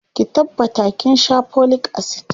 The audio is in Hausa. ki tabbata kin Sha folic acid!